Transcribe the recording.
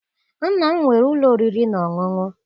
Nna m nwere ụlọ oriri na ọṅụṅụ.